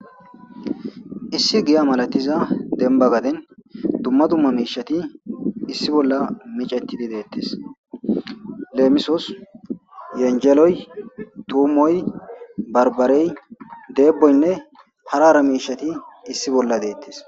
issi giya malatiza demba gaden dumma dumma miishati issi bolla micettidi deettes leemisos yenjeloy tuumoy barbarey deeboynne harara miishati issi bolla deettes